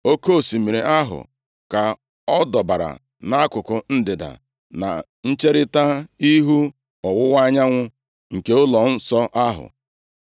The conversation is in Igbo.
Oke osimiri ahụ ka ọ dọbara nʼakụkụ ndịda, na ncherita ihu ọwụwa anyanwụ nke ụlọnsọ ahụ.